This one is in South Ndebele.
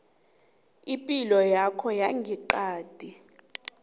ipilo yakho yangeqadi